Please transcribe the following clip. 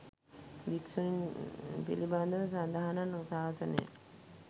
භික්‍ෂුණීන් පිළිබඳව සඳහනක් ශාසනයේ